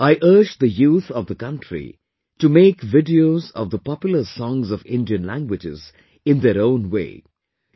I urge the youth of the country to make videos of the popular songs of Indian languages in their own way...